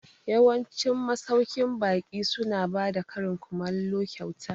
Yawancin masauƙin baƙi su na bada karin kumallo kyauta